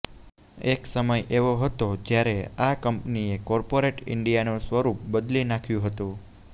એક સમય એવો હતો જ્યારે આ કંપનીએ કોર્પોરેટ ઈંડિયાનું સ્વરૂપ બદલી નાખ્યુ હતુ